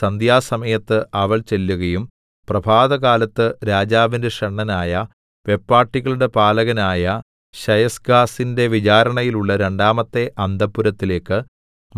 സന്ധ്യാസമയത്ത് അവൾ ചെല്ലുകയും പ്രഭാതകാലത്ത് രാജാവിന്റെ ഷണ്ഡനായ വെപ്പാട്ടികളുടെ പാലകനായ ശയസ്ഗസിന്റെ വിചാരണയിലുള്ള രണ്ടാമത്തെ അന്തഃപുരത്തിലേക്ക്